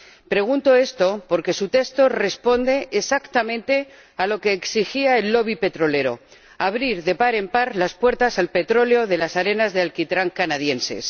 Pregunto esto porque su texto responde exactamente a lo que exigía el petrolero abrir de par en par las puertas al petróleo de las arenas de alquitrán canadienses.